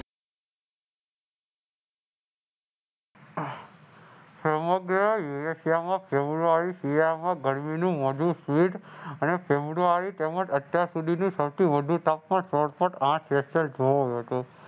ફેબ્રુઆરી શિયાળામાં ગરમીનું અને ફ્રેબ્રુઆરી તેમ જ અત્યાર સુધીનું સૌથી વધુ તાપમાન સોળ Point આઠ